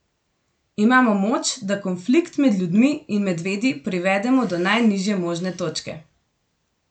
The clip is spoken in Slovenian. Imamo moč, da konflikt med ljudmi in medvedi privedemo do najnižje možne točke.